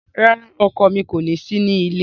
Rara, ọkọ mi ko si ni ile